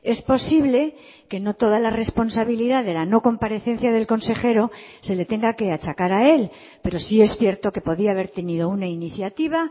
es posible que no toda la responsabilidad de la no comparecencia del consejero se le tenga que achacar a él pero sí es cierto que podía haber tenido una iniciativa